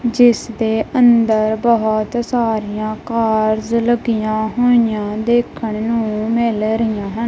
ਜਿਸ ਦੇ ਅੰਦਰ ਬਹੁਤ ਸਾਰੀਆਂ ਕਾਰਜ਼ ਲੱਗੀਆਂ ਹੋਈਆਂ ਦੇਖਣ ਨੂੰ ਮਿਲ ਰਹੀਆਂ ਹਨ।